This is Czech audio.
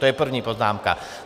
To je první poznámka.